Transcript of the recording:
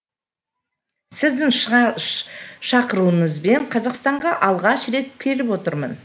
сіздің шақыруыңызбен қазақстанға алғаш рет келіп отырмын